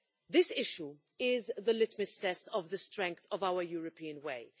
This issue is the litmus test of the strength of our European way.